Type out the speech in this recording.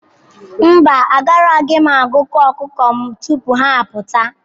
Mba, agaraghị m agụkọ ọkụkọ m tupu ha apụta.